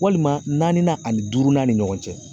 Walima naani ani durunan ni ɲɔgɔn cɛ